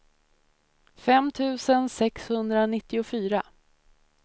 fem tusen sexhundranittiofyra